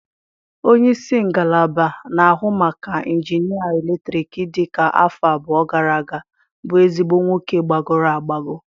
Onye isi ngalaba na-ahụ maka injinịa eletrik dị ka afọ abụọ gara aga bụ ezigbo nwoke gbagọrọ agbagọ.